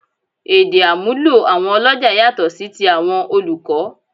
Èdè àmúlò àwọn ọlọ́jà yàtọ̀ sí ti àwọn olùkọ́